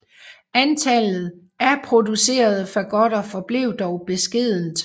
Antallet af producerede fagotter forblev dog beskedent